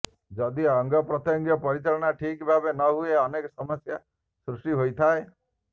ଯଦି ଅଙ୍ଗପ୍ରତ୍ୟଙ୍ଗ ପରିଚାଳନା ଠିକ୍ ଭାବରେ ନ ହୁଏ ଅନେକ ସମସ୍ୟା ସୃଷ୍ଟି ହୋଇଥାଏ